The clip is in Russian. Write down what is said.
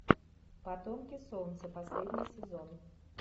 потомки солнца последний сезон